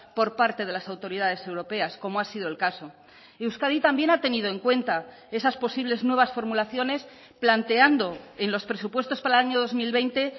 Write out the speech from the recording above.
por parte de las autoridades europeas como ha sido el caso y euskadi también ha tenido en cuenta esas posibles nuevas formulaciones planteando en los presupuestos para el año dos mil veinte